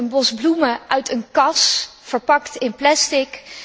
Zij kocht een bos bloemen uit een kas, verpakt in plastic.